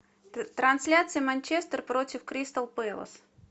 трансляция манчестер против кристал пэлас